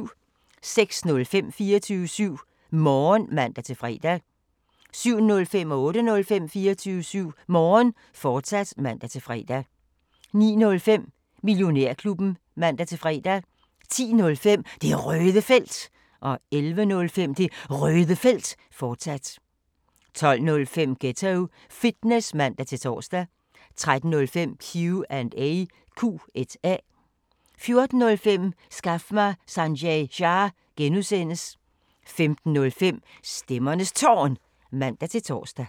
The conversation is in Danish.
06:05: 24syv Morgen (man-fre) 07:05: 24syv Morgen, fortsat (man-fre) 08:05: 24syv Morgen, fortsat (man-fre) 09:05: Millionærklubben (man-fre) 10:05: Det Røde Felt 11:05: Det Røde Felt, fortsat 12:05: Ghetto Fitness (man-tor) 13:05: Q&A 14:05: Skaf mig Sanjay Shah! (G) 15:05: Stemmernes Tårn (man-tor)